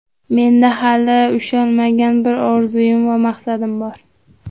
Menda hali ushalmagan bir orzuim va maqsadim bor.